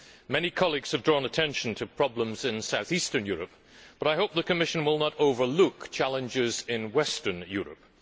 Many colleagues have drawn attention to problems in South Eastern Europe, but I hope the Commission will not overlook challenges in Western Europe.